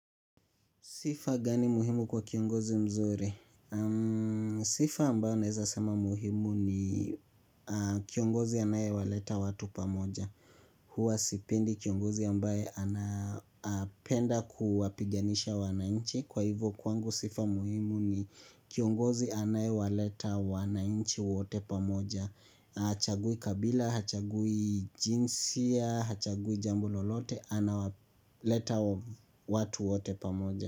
Sifa gani muhimu kwa kiongozi mzuri. Sifa ambayo naezasema muhimu ni kiongozi anayewaleta watu pamoja. Huwa sipendi kiongozi ambaye anapenda kuwapiganisha wananchi. Kwa hivyo kwangu sifa muhimu ni kiongozi anayewaleta wananchi wote pamoja. Hachagui kabila, hachagui jinsia, hachagui jambo lolote, anawaleta watu wote pamoja.